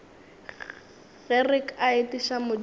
ge re ka etiša modimo